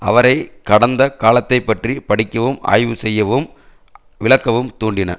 அவரை கடந்த காலத்தை பற்றி படிக்கவும் ஆய்வு செய்யவும் விளக்கவும் தூண்டின